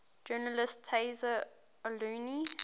journalist tayseer allouni